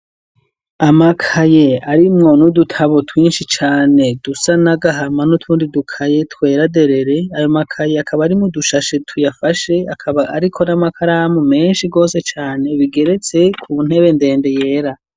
Amakaye arimwo n'udutabo twinshi cane dusa nagahama n'utundi dukaye tweraderere ayo makaye akaba arimo dushashe tuyafashe akaba arikori amakaramu menshi gose cane bigeretse ku ntebe ndende yera.